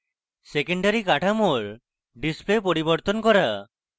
secondary কাঠামোর display পরিবর্তন করা